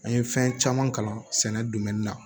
An ye fɛn caman kalan sɛnɛ na